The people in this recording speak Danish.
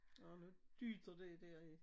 Og nu dytter det derinde